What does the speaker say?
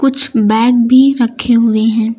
कुछ बैग भी रखे हुए हैं।